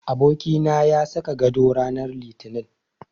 Abokina ya saka gado rananr Litinin.